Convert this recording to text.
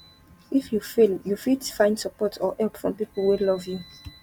if you fail you fit find support or help from pipo wey love you